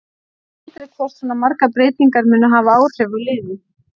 Þú veist aldrei hvort svona margar breytingar munu hafa áhrif á liðið.